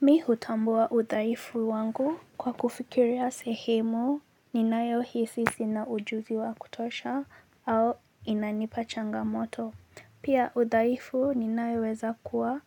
Mimi hutambua udhaifu wangu kwa kufikiria sehemu ninayohisi sina ujumbe wa kutosha au inanipa changamoto. Pia udhaifu ninaoweza kuwa,